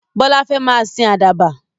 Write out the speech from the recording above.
Bọlá fẹ́ máa sìn àdàbà.